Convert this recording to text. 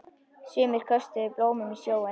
Sumir köstuðu blómum í sjóinn.